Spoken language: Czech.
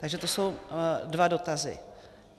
Takže to jsou dva dotazy.